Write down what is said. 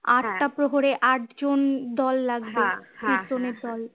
আটটা প্রহরে আটজন দল লাগবে কীর্তনের দল